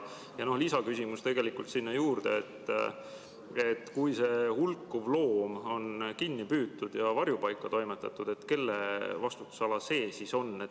Lisaküsimus siia juurde: kui see hulkuv loom on kinni püütud ja varjupaika toimetatud, kelle vastutusala see on?